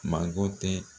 Manko tɛ